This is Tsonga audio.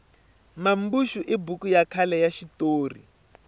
mambuxu i buku ya khale ya xitori